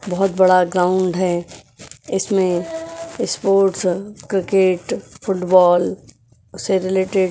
बहुत बड़ा ग्राउंड है इसमें स्पोर्ट्स क्रिकेट फुटबॉल से रिलेटेड --